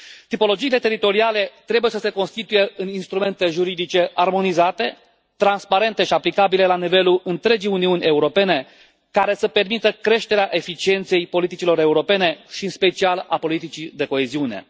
Tipologiile teritoriale trebuie să se constituie în instrumente juridice armonizate, transparente și aplicabile la nivelul întregii Uniuni Europene care să permită creșterea eficienței politicilor europene și în special a politicii de coeziune.